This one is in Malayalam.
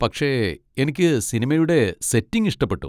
പക്ഷെ എനിക്ക് സിനിമയുടെ സെറ്റിങ് ഇഷ്ടപ്പെട്ടു.